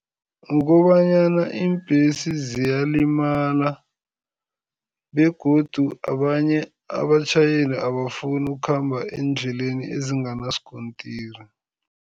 Kukobanyana iimbhesi ziyalimala begodu abanye abatjhayeli abafuni ukukhamba eendleleni ezinganaskontiri.